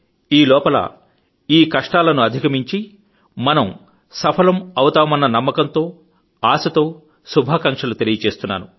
ఈలోపల ఈకష్టాలను అధిగమించడంలో మనం సఫలమవుతామన్న నమ్మకంతో ఆశతో శుభాకాంక్షలు తెలియజేస్తున్నాను